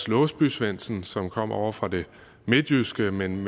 låsby svendsen som kom ovre fra det midtjyske men